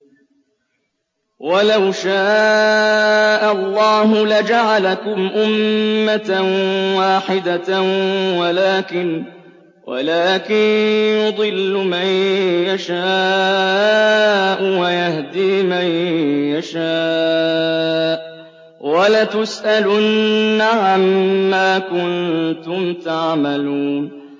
وَلَوْ شَاءَ اللَّهُ لَجَعَلَكُمْ أُمَّةً وَاحِدَةً وَلَٰكِن يُضِلُّ مَن يَشَاءُ وَيَهْدِي مَن يَشَاءُ ۚ وَلَتُسْأَلُنَّ عَمَّا كُنتُمْ تَعْمَلُونَ